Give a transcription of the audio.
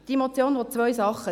Diese Motion will zwei Dinge.